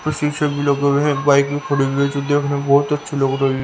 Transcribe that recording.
और शीशे भी लगे हुए हैं एक बाइक भी पड़ी हुई है जो देखने बहोत अच्छी लग रही--